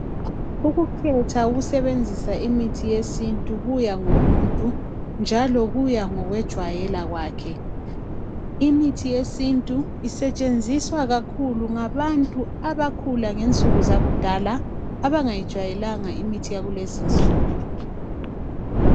Ukukhetha ukusebenzisa imithi yesintu kuya ngomuntu njalo kuya ngokwejwayela kwakhe imithi yesintu isetshenziswa kakhulu ngabantu abakhula ngensuku zakudala abangayijwayelanga imithi yakulezi nsuku.